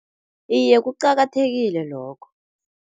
Iye, kuqakathekile lokho.